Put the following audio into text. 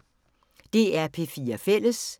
DR P4 Fælles